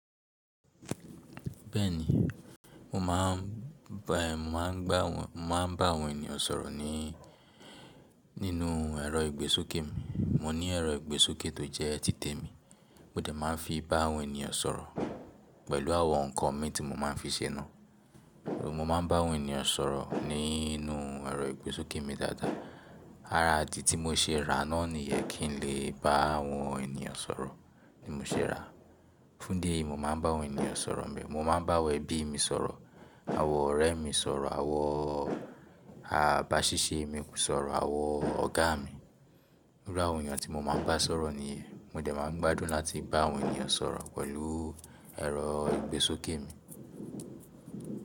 Bẹ́ẹ̀ni, mo máa ń, mo máa ń bá àwọn ènìyàn sọ̀rọ̀ ní, nínú ẹ̀rọ ìgbésókè mi. Mo ní ẹ̀rọ ìgbésókè tó jẹ́ títè mi, mo dẹ̀ máa ń fi bá àwọn ènìyàn sọ̀rọ̀ pẹ̀lú àwọn nkan mii tí mo máa ń fi ṣe náà. Mo máa ń bá àwọn ènìyàn sọ̀rọ̀ nínú ẹ̀rọ ìgbésókè mi dáadáa. Ara idì tí mo ṣe rà naa niyẹn kí n lè bá àwọn ènìyàn sọ̀rọ̀ ni mo ṣe ràá. Fún idi eyii, mo máa ń bá àwọn ènìyàn sọ̀rọ̀ nibe. Mo máa ń bá awon ẹbí mi sọ̀rọ̀, àwọn ọ̀rẹ́ mi sọ̀rọ̀, àwọn àbáṣiṣẹ́ mi sọ̀rọ̀, àwọn ọ̀gá mi. Iru àwọn èeyàn tí mo máa ń bá sọ̀rọ̀ niyen, mo dẹ̀ máa ń gbádùn láti bá àwọn ènìyàn sọ̀rọ̀ pẹ̀lú ẹ̀rọ ìgbésókè mi.